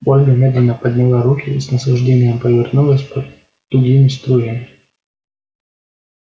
ольга медленно подняла руки с наслаждением повернулась под тугими струями